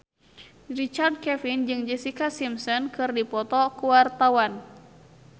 Richard Kevin jeung Jessica Simpson keur dipoto ku wartawan